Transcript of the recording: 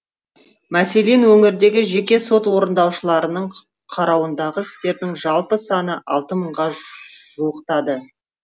мәселен өңірдегі жеке сот орындаушыларының қарауындағы істердің жалпы саны алты мыңға жуықтады